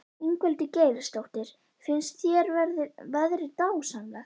Ingveldur Geirsdóttir: Finnst þér veðrið dásamlegt?